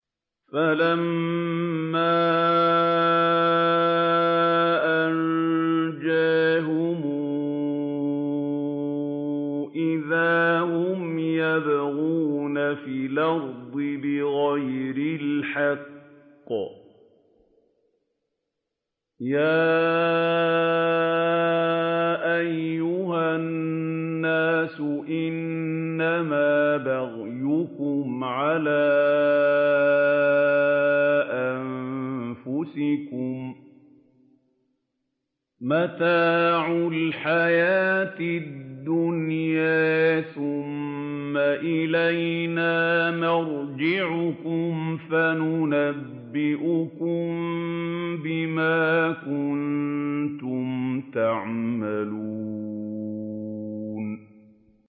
فَلَمَّا أَنجَاهُمْ إِذَا هُمْ يَبْغُونَ فِي الْأَرْضِ بِغَيْرِ الْحَقِّ ۗ يَا أَيُّهَا النَّاسُ إِنَّمَا بَغْيُكُمْ عَلَىٰ أَنفُسِكُم ۖ مَّتَاعَ الْحَيَاةِ الدُّنْيَا ۖ ثُمَّ إِلَيْنَا مَرْجِعُكُمْ فَنُنَبِّئُكُم بِمَا كُنتُمْ تَعْمَلُونَ